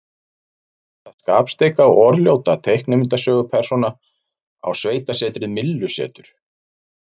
Hvaða skapstygga og orðljóta teiknimyndasögupersóna á sveitasetrið Myllusetur?